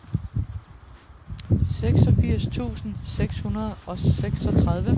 seksogfirs tusind seks hundrede og seksogtredive